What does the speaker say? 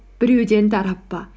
біреуден тарап па